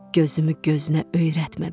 Gözümü gözünə öyrətmə belə.